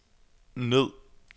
ned